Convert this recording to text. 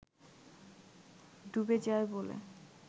ডুবে যায় বলে